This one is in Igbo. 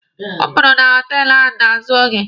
Ọ pụrụ na họtelụ ahụ n'azụ oge.